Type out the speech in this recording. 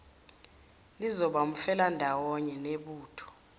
lizoba umfelandawonye nebutho